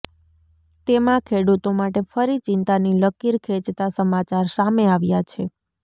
તેમાં ખેડૂતો માટે ફરી ચિંતાની લકીર ખેંચતા સમાચાર સામે આવ્યા છે